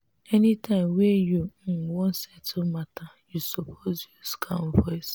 any time wey you um wan settle matter you suppose use calm voice.